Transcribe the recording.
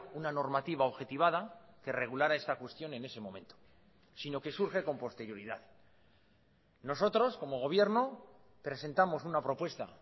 una normativa objetivada que regulara esta cuestión en ese momento sino que surge con posterioridad nosotros como gobierno presentamos una propuesta